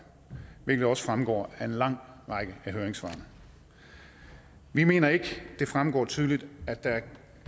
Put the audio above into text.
hvilket også fremgår af en lang række af høringssvarene vi mener ikke det fremgår tydeligt at der